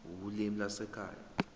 ulimi lwasekhaya p